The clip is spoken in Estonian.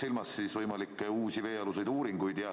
Pean silmas võimalikke uusi veealuseid uuringuid.